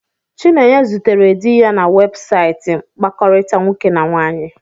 Chinenye zutere di ya na webụsaịtị mkpakọrịta nwoke na nwaanyị.